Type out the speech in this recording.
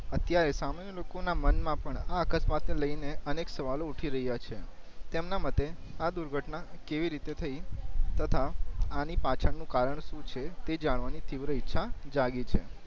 અત્યારે સામાન્ય લોકો ના મન માં પણ આ અકસ્માત ને લઈ ને અનેક સવાલો ઉઠી રયા છે તેમના માટે આ દુર્ઘટના કેવી રીતે થઈ તથા આની પાછ્ડ નું કારણ શું છે તે જાણવા ની તીવ્ર ઈચ્છા જાગી છે